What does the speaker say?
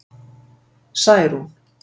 Særún